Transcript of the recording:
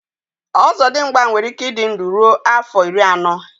ọzọdịmgba nwere ike ịdị ndụ ruo afọ iri anọ